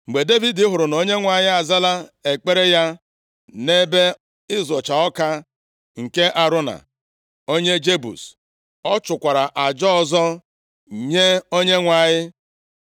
Mgbe Devid hụrụ na Onyenwe anyị azala ekpere ya nʼebe ịzọcha ọka nke Arauna onye Jebus, ọ chụkwara aja ọzọ nye Onyenwe anyị.